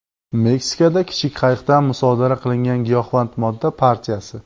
Meksikada kichik qayiqdan musodara qilingan giyohvand modda partiyasi.